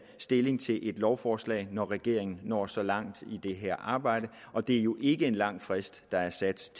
stilling til et lovforslag når regeringen når så langt i det her arbejde og det er jo ikke en lang frist der er sat